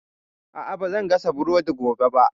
A'a, ba zan gasa burodi gobe ba